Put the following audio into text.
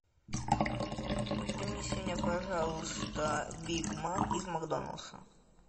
принеси мне пожалуйста биг мак из макдональдса